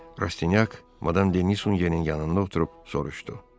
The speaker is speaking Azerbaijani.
Rastyanyak Madam Deni Nusin yenin yanında oturub soruşdu.